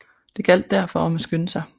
Det gjaldt derfor om at skynde sig